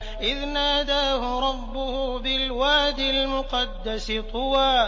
إِذْ نَادَاهُ رَبُّهُ بِالْوَادِ الْمُقَدَّسِ طُوًى